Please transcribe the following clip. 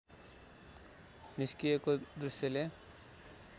निस्किएको दृश्यले